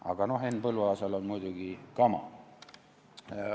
Aga noh, Henn Põlluaasal on muidugi kama.